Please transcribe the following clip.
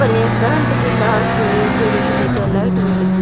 ऊपर एक करेंट भी लाग गो एक चिड़िकली के लाइट भी लगी --